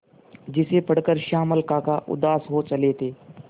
जिसे पढ़कर श्यामल काका उदास हो चले थे